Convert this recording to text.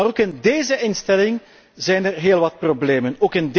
Maar ook in déze instelling zijn er heel wat problemen.